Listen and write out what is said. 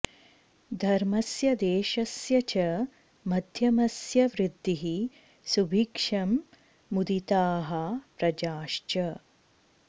धर्मस्य देशस्य च मध्यमस्य वृद्धिः सुभिक्षं मुदिताः प्रजाश्च